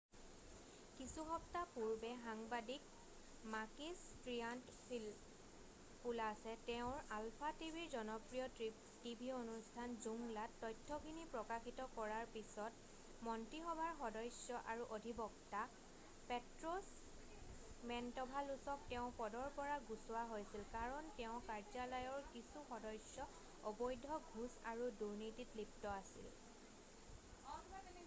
"কিছু সপ্তাহ পূৰ্বে সাংবাদিক মাকিছ ট্ৰিয়ান্তফিলপোলাছে তেওঁৰ আলফা টিভিৰ জনপ্ৰিয় টিভি অনুষ্ঠান "জোংলা""ত তথ্যখিনি প্ৰকাশিত কৰাৰ পিছত মন্ত্ৰীসভাৰ সদস্য আৰু অধিবক্তা পেট্ৰছ মেন্টভালোচক তেওঁৰ পদৰ পৰা গুচোৱা হৈছিল কাৰণ তেওঁৰ কাৰ্যালয়ৰ কিছু সদস্য অবৈধ ঘোচ আৰু দুৰ্নীতিত লিপ্ত আছিল।""